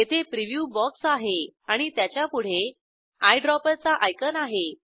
येथे preview box आहे आणि त्याच्यापुढे आयड्रॉपर चा आयकॉन आहे